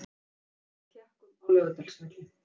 Tap gegn Tékkum á Laugardalsvelli